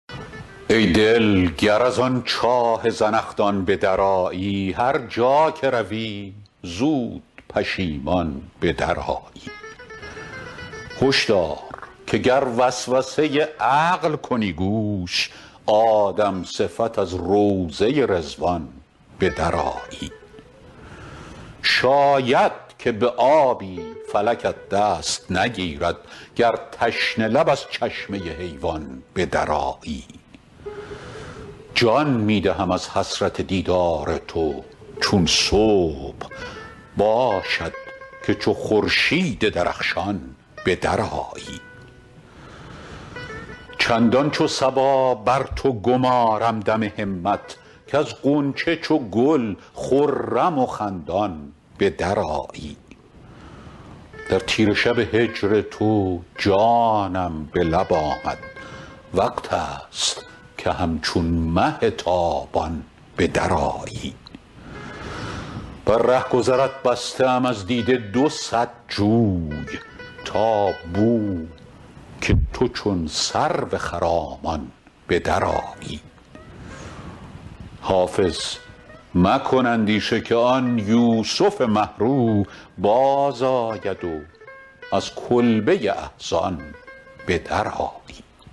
ای دل گر از آن چاه زنخدان به درآیی هر جا که روی زود پشیمان به درآیی هش دار که گر وسوسه عقل کنی گوش آدم صفت از روضه رضوان به درآیی شاید که به آبی فلکت دست نگیرد گر تشنه لب از چشمه حیوان به درآیی جان می دهم از حسرت دیدار تو چون صبح باشد که چو خورشید درخشان به درآیی چندان چو صبا بر تو گمارم دم همت کز غنچه چو گل خرم و خندان به درآیی در تیره شب هجر تو جانم به لب آمد وقت است که همچون مه تابان به درآیی بر رهگذرت بسته ام از دیده دو صد جوی تا بو که تو چون سرو خرامان به درآیی حافظ مکن اندیشه که آن یوسف مه رو بازآید و از کلبه احزان به درآیی